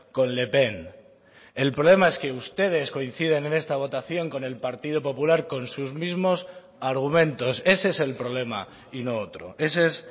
con le pen el problema es que ustedes coinciden en esta votación con el partido popular con sus mismos argumentos ese es el problema y no otro ese es